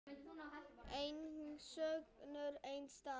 Enginn söngur, enginn dans.